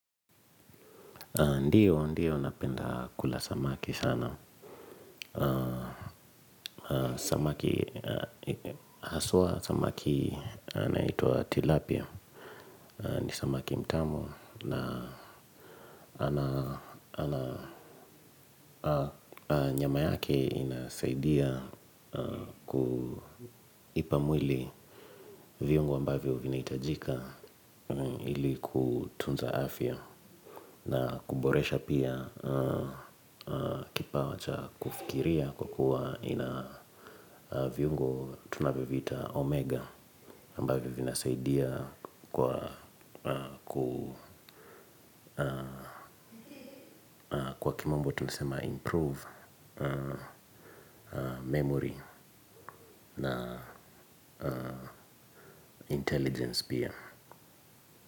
Ndio. Ndio napenda kula samaki sana. Samaki, haswa samaki anayeitwa Tilapia. Ni samaki mtamu. Na nyama yake inasaidia kuipa mwili viungo ambavyo vinahitajika ili kutunza afya. Na kuboresha pia kipawa cha kufikiria kwa kuwa ina viungo tunavyo viita omega ambavyo vinasaidia kwa kimombo tunasema improve memory na intelligence pia.